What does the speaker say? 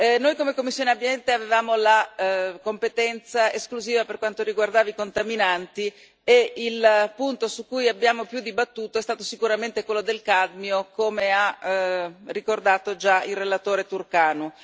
Noi, come commissione Ambiente, avevamo la competenza esclusiva per quanto riguarda i contaminanti e il punto su cui abbiamo più dibattuto è stato sicuramente quello del cadmio, come ha ricordato già il relatore Ţurcanu.